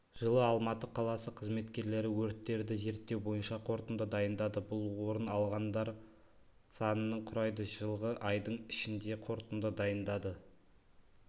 жылы алматы қаласы қызметкерлері өрттерді зерттеу бойынша қорытынды дайындады бұл орын алғандар санының құрайды жылғы айдың ішінде қорытынды дайындады